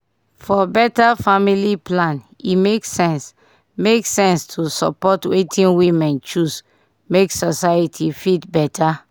for beta family plan e make sense make sense to support wetin women choose make society fit beta